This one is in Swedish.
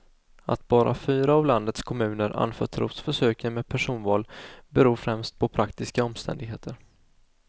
Att bara fyra av landets kommuner anförtros försöken med personval beror främst på praktiska omständigheter.